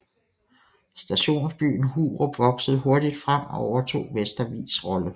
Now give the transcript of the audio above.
Stationsbyen Hurup voksede hurtigt frem og overtog Vestervigs rolle